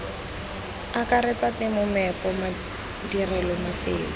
akaretsa temo meepo madirelo mafelo